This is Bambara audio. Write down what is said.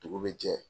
Dugu bɛ jɛ